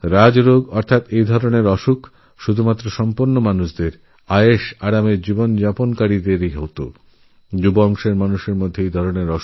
রাজ রোগ অর্থাৎ এমন সমস্ত রোগব্যাধি যাআগে কেবল স্বচ্ছল ঘরের আরামআয়েসে জীবন কাটানো মানুষদের মধ্যে দেখা যেত